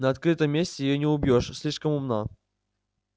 на открытом месте её не убьёшь слишком умна